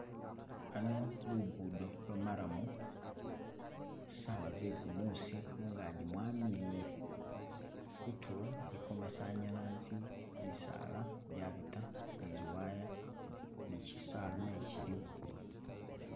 Hano lugudo lwo maramu, sawa ze gumusi, mungaji mwamili'hile, kutulo iliko masanyalanze, misaala jabita ni ziwaya, ni kyisaala naye kyiliwo